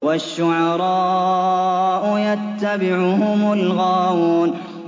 وَالشُّعَرَاءُ يَتَّبِعُهُمُ الْغَاوُونَ